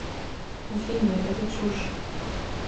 афина это чушь